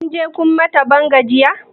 Kunje kun mata ban gajiya?